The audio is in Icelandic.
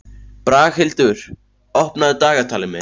Braghildur, opnaðu dagatalið mitt.